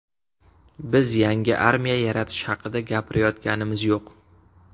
Biz yangi armiya yaratish haqida gapirayotganimiz yo‘q.